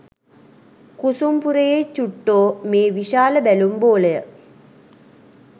කුසුම් පුරයේ චුට්ටෝ මේ විශාල බැලුම් බෝලය